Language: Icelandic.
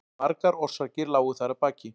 Margar orsakir lágu þar að baki.